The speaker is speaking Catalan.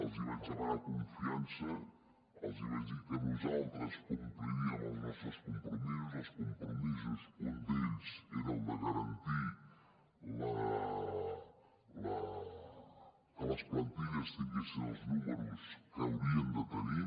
els vaig demanar confiança els vaig dir que nosaltres compliríem els nostres compromisos dels compromisos un d’ells era el de garantir que les plantilles tinguessin els números que haurien de tenir